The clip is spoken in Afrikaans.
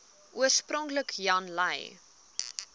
oorspronklik jan lui